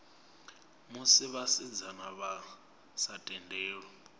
musi vhasidzana vha sa tendelwi